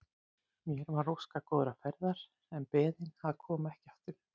Mér var óskað góðrar ferðar en beðin að koma ekki aftur.